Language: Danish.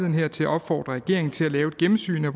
her til at opfordre regeringen til at lave et gennemsyn af